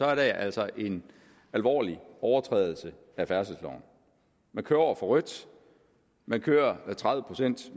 er det altså en alvorlig overtrædelse af færdselsloven man kører over for rødt man kører tredive procent